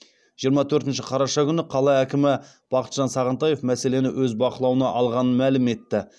жиырма төртінші қараша күні қала әкімі бақытжан сағынтаев мәселені өз бақылауына алғанын мәлім етті